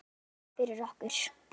Kærar þakkir fyrir okkur.